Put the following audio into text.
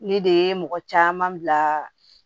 Ne de ye mɔgɔ caman bila